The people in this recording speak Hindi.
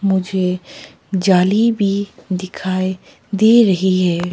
मुझे जाली भी दिखाई दे रही है।